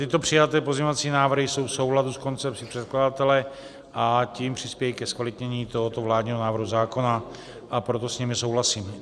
Tyto přijaté pozměňovací návrhy jsou v souladu s koncepcí předkladatele, a tím přispějí ke zkvalitnění tohoto vládního návrhu zákona, a proto s nimi souhlasím.